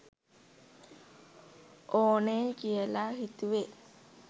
ඕනෙයි කියල හිතුවේ